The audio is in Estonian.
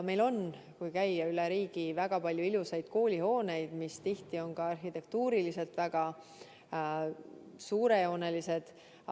Meil on üle riigi väga palju ilusaid koolihooneid, mis tihti on ka arhitektuuriliselt väga suurejoonelised.